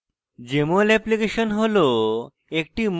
jmol application হল